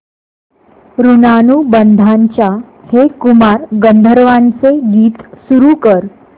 ऋणानुबंधाच्या हे कुमार गंधर्वांचे गीत सुरू कर